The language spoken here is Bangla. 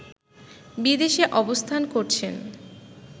বিদেশে অবস্থান করছেন